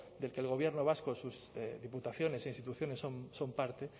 del que el gobierno vasco diputaciones e instituciones son parte